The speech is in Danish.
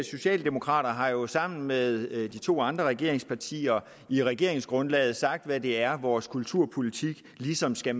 socialdemokrater har jo sammen med de to andre regeringspartier i regeringsgrundlaget sagt hvad det er vores kulturpolitik ligesom skal